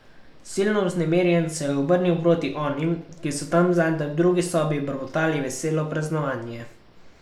Silno vznemirjen se je obrnil proti onim, ki so tam zadaj, v drugi sobi, brbotali veselo praznovanje.